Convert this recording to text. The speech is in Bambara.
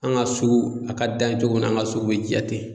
An' ŋa sugu a ka dan cogo min na an' ŋa sugu be diya ten.